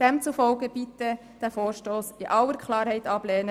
Demzufolge bitte ich Sie, diesen Vorstoss in aller Klarheit abzulehnen.